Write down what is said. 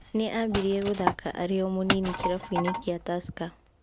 Nĩ ambĩrĩe gũthaka arĩ o mũnini kĩrabu-inĩ kĩa Tusker.